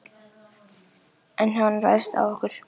En ef hann ræðst á okkur?